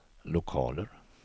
lokaler